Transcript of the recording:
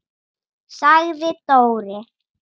sagði Dóri.